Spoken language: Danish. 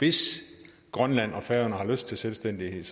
hvis grønland og færøerne har lyst til selvstændighed